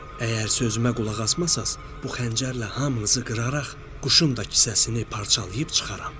Əgər sözümə qulaq asmasaz, bu xəncərlə hamınızı qıraraq quşun da kisəsini parçalayıb çıxaram.